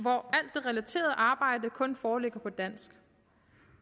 relaterede arbejde kun foreligger på dansk